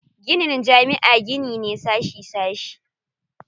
Ginin jami'a gini ne sashi sashi.